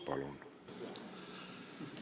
Palun!